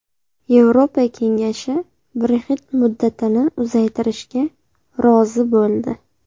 Yevropa Kengashi Brexit muddatini uzaytirishga rozi bo‘ldi.